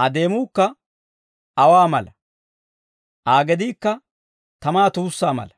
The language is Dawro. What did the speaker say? Aa deemuukka aawaa mala; Aa gediikka tamaa tuussaa mala.